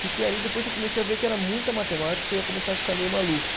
Fiquei ali, depois eu comecei a ver que era muita matemática, eu ia começar a ficar meio maluco.